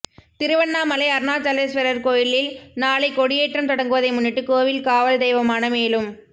திருவண்ணாமலை அருணாசலேஸ்வரர் கோவிலில் நாளை கொடியேற்றம் தொடங்குவதை முன்னிட்டு கோவில் காவல் தெய்வமான மேலும்